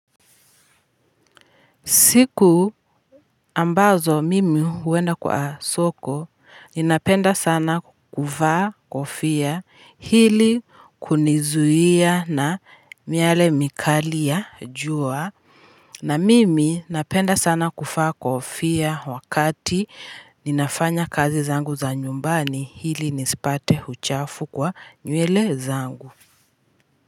Siku ambazo mimi huenda kwa soko, ninapenda sana kuvaa kofia hili kunizuia na miale mikali ya jua, na mimi napenda sana kuvaa kofia wakati ninafanya kazi zangu za nyumbani ili nisipate uchafu kwa nywele zangu.